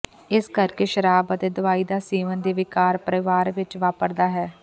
ਇਸ ਕਰਕੇ ਸ਼ਰਾਬ ਅਤੇ ਦਵਾਈ ਦਾ ਸੇਵਨ ਦੇ ਵਿਕਾਰ ਪਰਿਵਾਰ ਵਿੱਚ ਵਾਪਰਦਾ ਹੈ